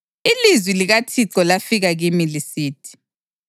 Ilizwi likaThixo lafika kimi lisithi: